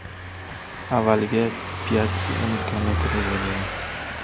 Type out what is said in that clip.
Avvaliga Piatssi uni kometa deb o‘ylagan.